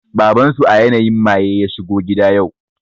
Baban su a yanayin maye ya shigo gida yau